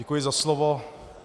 Děkuji za slovo.